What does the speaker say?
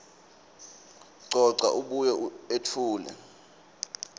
coca abuye etfule